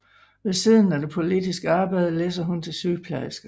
Ved siden af det politiske arbejde læser hun til sygeplejerske